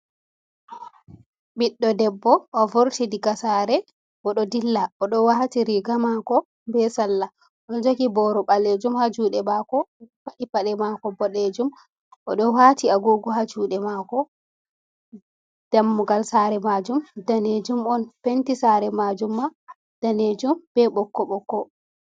"Ɓidɗo debbo" o'vurti diga sare oɗo dilla oɗo wati riga mako be sallah on joki boru balejum ha jude mako paɗi pade mako bodejum oɗo wati agugo ha jude mako dammugal sare majum danejum on penti sare majum ma danejum be bokko bokko.